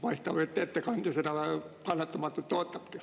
Paistab, et ettekandja seda kannatamatult ootabki.